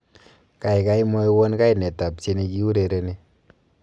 kaigai mwowon kainet ab tieni giurereni